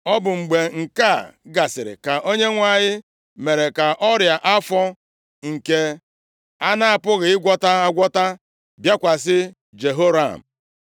Ọ bụ mgbe nke a gasịrị ka Onyenwe anyị mere ka ọrịa afọ nke a na-apụghị ịgwọta agwọta bịakwasị Jehoram.